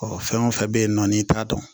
fɛn o fɛn bɛ yen nɔ n'i t'a dɔn